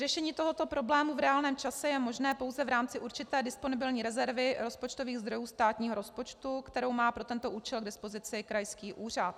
Řešení tohoto problému v reálném čase je možné pouze v rámci určité disponibilní rezervy rozpočtových zdrojů státního rozpočtu, kterou má pro tento účel k dispozici krajský úřad.